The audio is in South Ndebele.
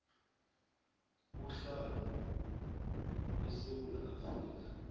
uhlala esewula afrika